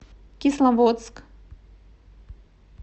кисловодск